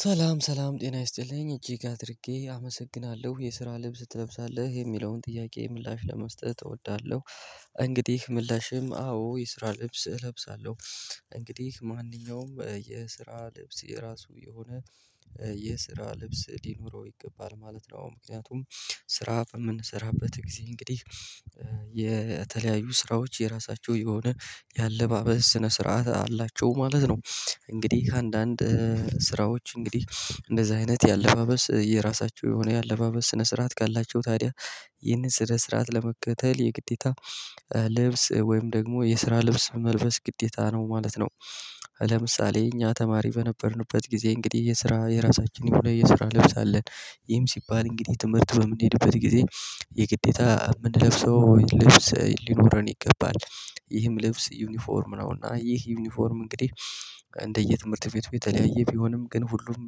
ሰላም ሰላም ጤና ይስጥልኝ እጅግ አድርጌ አመሰግናለሁ የስራ ልብስ ትለብሳለህ የሚለውን ጥያቄ ምላሽ ለመስጠት እወዳለሁ። እንግዲህ ምላሼም አዎ ይስራል ልብስ እለብሳለሁ። እንግዲህ ማንኛውም የስራ ልብስ የራሱ የሆነ የስራ ልብስ ሊኖረው ይገባል ማለት ነው። ምክንያቱም ስራ በምንሰራበት ጊዜ እንግዲህ የ የተለያዩ ስራዎች የራሳቸው የሆነ የአለባበስ ስነ ስርዓት አላቸው ማለት ነው። እንግዲህ ከአንዳንድ ስራዎች እንግዲህ እንደዚህ አይነት የአለባበስ የራሳቸው የሆነ የአለባበስ ስነ ስርዓት ካላቸው ታዲያ ይህንን ስነ ስርዓት ለመከተል የግዴታ ልብስ ወይም ደግሞ የስራ ልብስ መልበስ ግዴታ ነው ማለት ነው። ለምሳሌ እኛ ተማሪ በነበርንበት ጊዜ እንግዲህ የስራ የራሳችንን ይሁን የስራ ልብስ አለን። ይም ሲባል እንግዲህ ትምህርት በምንሄድበት ጊዜ የግዴታ የምንለብሰው ልብስ ሊኖረን ይገባል። ይህም ልብስ ዩኒፎርም ነውና ይህ ዩኒፎርም እንግዲህ እንደየ ትምህርት ቤቱ የተለያየ ቢሆንም ግን ሁሉም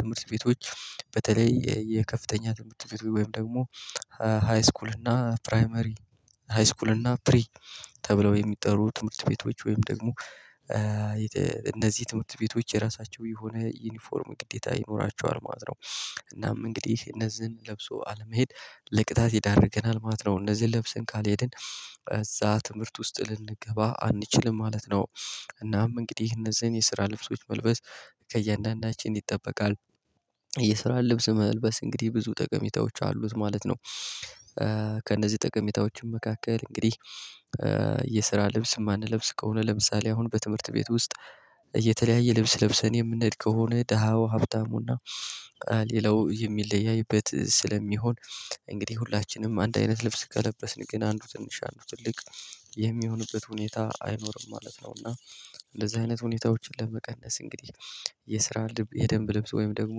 ትምህርት ቤቶች በተለይ የከፍተኛ ትምህርት ቤት ወይም ደግሞ ሃይስኩል እና ፕራይመሪ ሃይስኩል እና ፕሪ ተብለው የሚጠሩ ትምህርት ቤቶች ወይም ደግሞ እነዚህ ትምህርት ቤቶች የራሳቸው የሆነ ዩኒፎርም ግዴታ ይኖራቸዋል ማለት ነው። እናም እንግዲህ እነዚህን ለብሶ አለመሄድ ለቅጣት ይዳርገናል ማለት ነው። እነዚህን ለብሰን ካልሄድን እዛ ትምህርት ውስጥ ልንገባ አንችልም ማለት ነው። እናም እንግዲህ እነዚህን የስራ ልብሶች መልበስ ከእያንዳንዳችን ይጠበቃል። የስራን ልብስ መልበስ እንግዲህ ብዙ ጠቀሜታዎች አሉት ማለት ነው። ከእነዚህ ጠቀሜታዎችም መካከል እንግዲህ የስራ ልብስ የማንለብስ ከሆነ ለምሳሌ አሁን በትምህርት ቤት ውስጥ እየተለያየ ልብስ ለብሰን የምንል ከሆነ ደሃው ሀብታሙና ሌላው የሚለያይበት ስለሚሆን እንግዲህ ሁላችንም አንድ አይነት ልብስ ከለበስን ግን አንዱ ትንሽ አንዱ ትልቅ የሚሆንበት ሁኔታ አይኖርም ማለት ነው። እና እንደዚህ አይነት ሁኔታዎችን ለመቀነስ እንግዲህ የስራ የደንብ ልብስ ወይም ደግሞ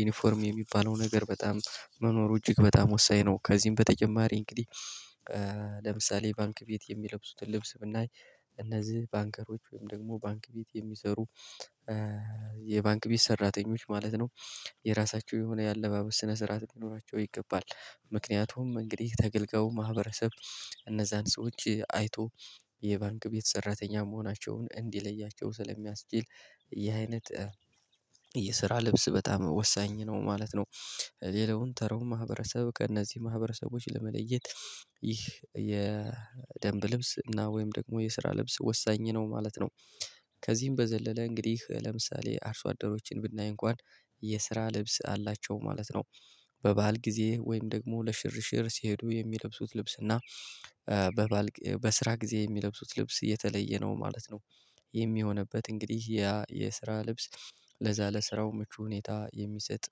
ዩኒፎርም የሚባለው ነገር በጣም መኖሩ እጅግ በጣም ወሳኝ ነው። ከዚህም በተጨማሪ እንግዲህ ለምሳሌ ባንክ ቤት የሚለብሱትን ልብስ ብናይ እነዚህ ባንከሮች ወይም ደግሞ ባንክ ቤት የሚሰሩ የባንክ ቤት ሰራተኞች ማለት ነው። የራሳቸው የሆነ የአለባበስ ስነ ስርዓት ሊኖራቸው ይገባል። ምክንያቱም እንግዲህ ተገልጋዩ ማህበረሰብ እነዛን ሰዎች አይቶ የባንክ ቤት ሰራተኛ መሆናቸውን እንዲለያቸው ስለሚያስችል ይሄ አይነት የስራ ልብስ በጣም ወሳኝ ነው ማለት ነው። ሌላውን ተራው ማህበረሰብ ከእነዚህ ማህበረሰቦች ለመለየት ይህ የደንብ ልብስ እና ወይም ደግሞ የስራ ልብስ ወሳኝ ነው ማለት ነው። ከዚህም በዘለለ እንግዲህ ለምሳሌ አርሶ አደሮችን ብናይ እንኳን የስራ ልብስ አላቸው ማለት ነው። በባህል ጊዜ ወይም ደግሞ ለሽርሽር ሲሄዱ የሚለብሱት ልብስ እና በባል በስራ ጊዜ የሚለብሱት ልብስ የተለየ ነው ማለት ነው። ይህም የሚሆንበት እንግዲህ ያ የስራ ልብስ ለዛ ለስራው ምቹ ሁኔታ የሚሰጥ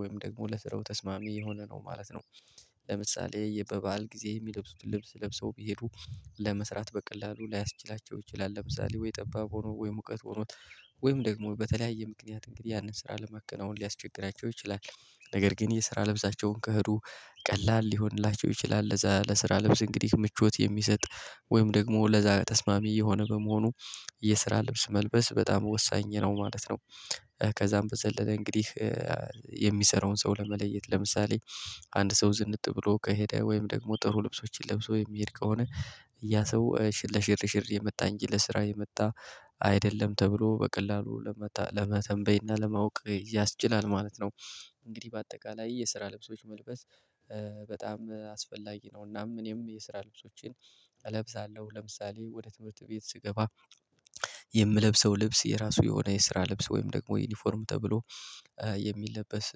ወይም ደግሞ ለስራው ተስማሚ የሆነ ነው ማለት ነው። ለምሳሌ የበበአል ጊዜ የሚለብሱት ልብስ ለብሰው ቢሄዱ ለመስራት በቀላሉ ላያስችላቸው ይችላል ለምሳሌ ወይ ጠባብ ሆኖ ወይ ሙቀት ሆኖ ወይም ደግሞ በተለያየ ምክንያት እንግዲህ ያንን ስራ ለመከናወን ሊያስቸግራቸው ይችላል። ነገር ግን የስራ ለብሳቸውን ከኸዱ ቀላል ሊሆንላቸው ይችላል። ለዛ ለስራ ልብስ እንግዲህ ምቾት የሚሰጥ ወይም ደግሞ ለዛ ተስማሚ የሆነ በመሆኑ የስራ ልብስ መልበስ በጣም ወሳኝ ነው ማለት ነው። ከዛም በዘለለ እንግዲህ የሚሰራውን ሰው ለመለየት ለምሳሌ አንድ ሰው ዝንጥ ብሎ ከሄደ ወይም ደግሞ ጥሩ ልብሶችን ለብሶ የሚሄድ ከሆነ ያ ሰው ሽር ለሽር ሽር የመጣ እንጂ ለስራ የመጣ አይደለም ተብሎ በቀላሉ ለመተንበይና ለማወቅ ያስችላል ማለት ነው። እንግዲህ በአጠቃላይ የስራ ልብሶች መልበስ በጣም አስፈላጊ ነው። እናም እኔም የስራ ልብሶቼን እለብሳለሁ ለምሳሌ ወደ ትምህርት ቤት ስገባ የምለብሰው ልብስ የራሱ የሆነ የስራ ልብስ ወይም ደግሞ ዩኒፎርም ተብሎ የሚለበስ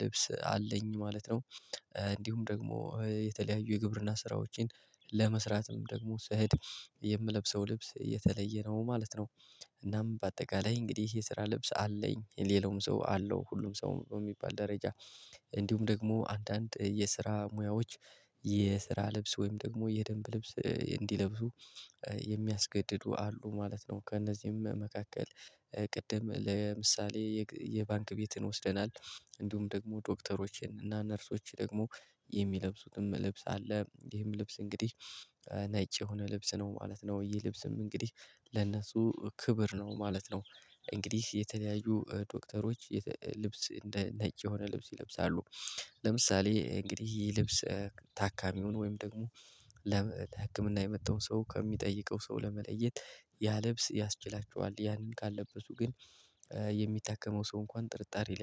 ልብስ አለኝ ማለት ነው። እንዲሁም ደግሞ የተለያዩ የግብርና ስራዎችን ለመስራትም ደግሞ ስኸድ የምለብሰው ልብስ የተለየ ነው ማለት ነው። እናም በአጠቃላይ እንግዲህ የስራ ልብስ አለኝ የሌላውም ሰው አለው ሁሉም ሰው በሚባል ደረጃ እንዲሁም ደግሞ አንዳንድ የስራ ሙያዎች የስራ ልብስ ወይም ደግሞ የደንብ ልብስ እንዲለብሱ የሚያስገድዱ አሉ ማለት ነው። ከእነዚህም መካከል ቅድም ለምሳሌ የባንክ ቤትን ወስደናል እንዲሁም ደግሞ ዶክተሮችን እና ነርሶችን ደግሞ የሚለብሱትን ልብስ አለ ይሄም ልብስ እንግዲህ ነጭ የሆነ ልብስ ነው ማለት ነው። ይህ ልብስም እንግዲህ ለነሱ ክብር ነው ማለት ነው። እንግዲህ የተለያዩ ዶክተሮች ልብስ እንደ ነጭ የሆነ ልብስ ይለብሳሉ። ለምሳሌ እንግዲህ ልብስ ታካሚውን ወይም ደግሞ ለህክምና የመጣውን ሰው ከሚጠይቀው ሰው ለመለየት ያ ልብስ ያስችላቸዋል ያንን ካልለበሱ ግን የሚታከመው ሰው እንኳን ጥርጣሬ